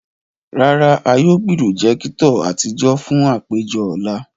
Rara, a yóò pirojekitọ atijọ fun apejọ ọla.